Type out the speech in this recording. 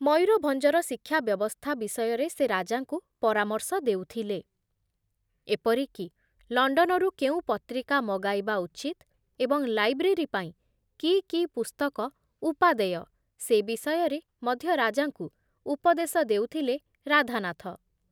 ମୟୂରଭଂଜର ଶିକ୍ଷା ବ୍ୟବସ୍ଥା ବିଷୟରେ ସେ ରାଜାଙ୍କୁ ପରାମର୍ଶ ଦେଉଥିଲେ, ଏପରିକି ଲଣ୍ଡନରୁ କେଉଁ ପତ୍ରିକା ମଗାଇବା ଉଚିତ ଏବଂ ଲାଇବ୍ରେରୀ ପାଇଁ କି କି ପୁସ୍ତକ ଉପାଦେୟ ସେ ବିଷୟରେ ମଧ୍ୟ ରାଜାଙ୍କୁ ଉପଦେଶ ଦେଉଥିଲେ ରାଧାନାଥ ।